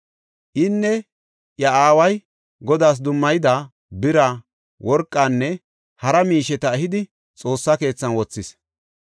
Inne iya aaway Godaas dummayida bira, worqanne hara miisheta ehidi Xoossa keethan wothis.